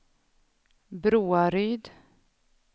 Broaryd